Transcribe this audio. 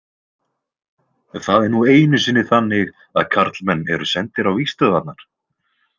Það er nú einu sinni þannig að karlmenn eru sendir á vígstöðvarnar?